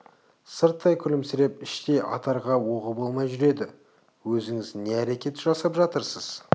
сырттай күлімсіреп іштей атарға оғы болмай жүреді өзіңіз не әрекет жасап жатырсыз